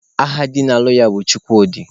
Aha di na-alụ ya bụ Chukwudị